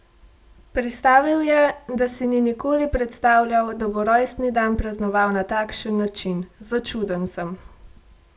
Pristavil je, da si ni nikoli predstavljal, da bo rojstni dan praznoval na takšen način: "Začuden sem.